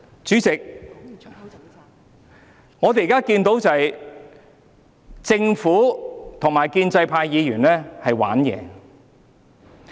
主席，我們現在看到政府與建制派議員在耍花招。